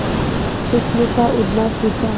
उसने था उड़ना सिखा